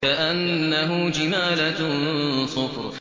كَأَنَّهُ جِمَالَتٌ صُفْرٌ